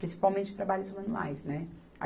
Principalmente trabalhos manuais, né?